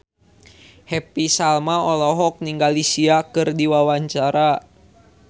Happy Salma olohok ningali Sia keur diwawancara